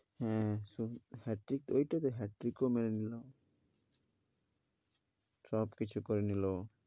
হ্যাঁ সব সব কিছু করে নিলো।